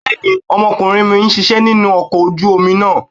Bẹ́ẹ̀ni, ọmọkùnrin mi ń ṣisẹ́ nínú ọkọ̀ ojú omi náà.